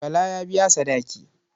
Bala ya biya sadaki.